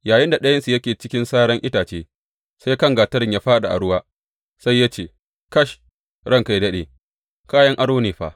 Yayinda ɗayansu yake cikin saran itace, sai kan gatarin ya fāɗi a ruwa, sai ya ce, Kash, ranka yă daɗe, kayan aro ne fa!